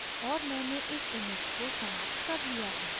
और मैंने इस image को समाप्त कर लिया है